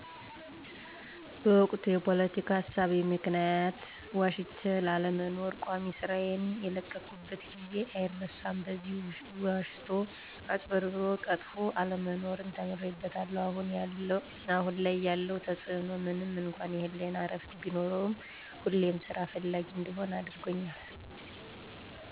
በወቅቱ የፖለቲካ እሳቤ ምክንያት ዋሽቼ ላለመኖር ቋሚ ስራዬን የለቀቅኩበት ጊዜ አይረሳም። በዚህም ዋሽቶ፣ አጭበርብሮና ቀጥፎ አለመኖርን ተምሬበታለሁ። አሁን ላይ ያለው ተፅእኖ ምንም እንኳ የህሌና እረፍት ቢኖርም ሁሌም ስራ ፈላጊ እንድሆን አድርጎኛል።